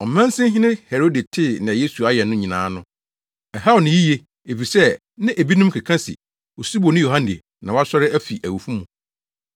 Ɔmansinhene Herode tee nea Yesu ayɛ no nyinaa no, ɛhaw no yiye, efisɛ na ebinom keka se Osuboni Yohane na wasɔre afi awufo mu,